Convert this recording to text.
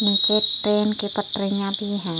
नीचे एक ट्रेन की पटरियाँ भी हैं।